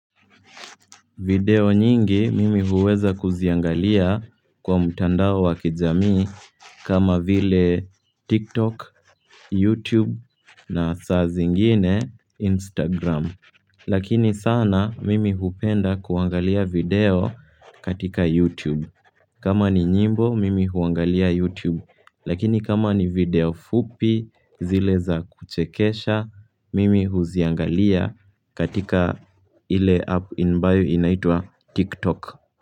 Video nyingi mimi huweza kuziangalia kwa mtandao wa kijami kama vile TikTok, YouTube na saa zingine Instagram. Lakini sana mimi hupenda kuangalia video katika YouTube. Kama ni nyimbo, mimi huangalia YouTube. Lakini kama ni video fupi zile za kuchekesha, mimi huziangalia katika ile app ambayo inaitwa TikTok.